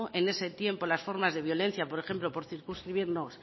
en ese tiempo las formas de violencia por ejemplo por circunscribirnos